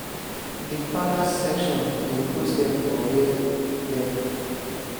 di parners section dey put dem for wia dem